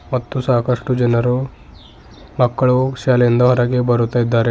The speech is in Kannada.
ಮತ್ತು ಸಾಕಷ್ಟು ಜನರು ಮಕ್ಕಳು ಶಾಲೆಯಿಂದ ಹೊರಗೆ ಬರುತಿದ್ದಾರೆ.